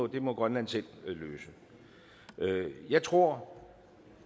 det må grønland selv løse jeg tror